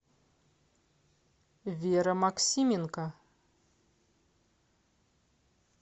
вера максименко